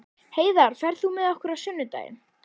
Heiðar, ferð þú með okkur á sunnudaginn?